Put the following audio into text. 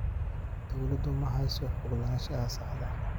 Dawladdu ma hayso xog lahaanshaha saxda ah.